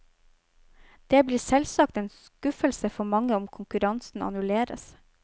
Det blir selvsagt en skuffelse for mange om konkurransen annulleres.